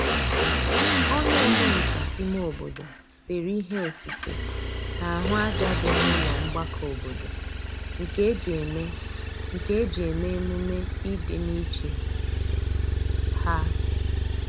onye omenka ime obodo sere ihe osise n'ahu aja di n'ulo mgbako obodo nke eji eme nke eji eme -emume idi n'iche ha